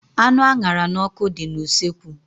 Anụ a ṅara n'ọkụ dị na usekwu.